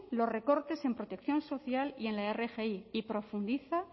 los recortes en protección social y en la rgi y profundiza